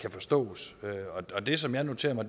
kan forstås og det som jeg noterer mig